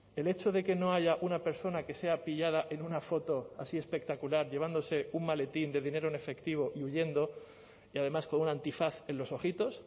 el hecho de que no haya una persona que sea pillada en una foto así espectacular llevándose un maletín de dinero en efectivo y huyendo y además con un antifaz en los ojitos